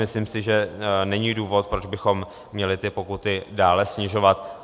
Myslím si, že není důvod, proč bychom měli ty pokuty dále snižovat.